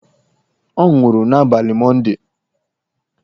Ọ nwụrụ n'abalị Mọndee.